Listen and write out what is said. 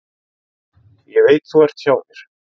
Ég veit þú ert hjá mér.